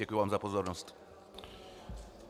Děkuji vám za pozornost.